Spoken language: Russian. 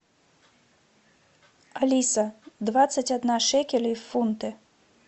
алиса двадцать одна шекелей в фунты